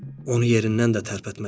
Onu yerindən də tərpətməzdi.